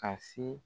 Ka se